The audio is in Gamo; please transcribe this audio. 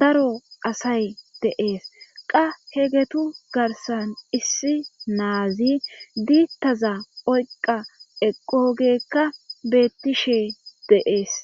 daro asay deees qa hegetu garsan issi naazi diittaza oyqa eqogeekka beettishe deees.